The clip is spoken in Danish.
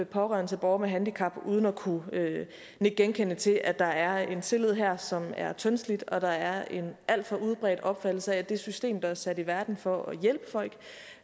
pårørende til borgere med handicap uden at kunne nikke genkendende til at der er en tillid her som er tyndslidt og at der er en alt for udbredt opfattelse af at det system der er sat i verden for at hjælpe folk